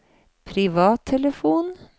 privattelefon